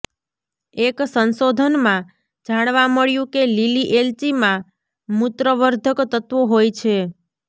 એક સંશોધનમાં જાણવા મળ્યું કે લીલી એલચીમાં મૂત્રવર્ધક તત્વો હોય છે